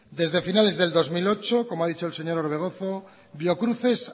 desde finales del dos mil ocho como ha dicho el señor orbegozo biocruces